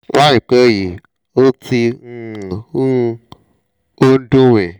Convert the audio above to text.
láìpẹ́ yìí ó ti ń um hù ó ń dùn mí